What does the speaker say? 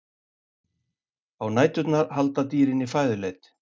Á næturnar halda dýrin í fæðuleit.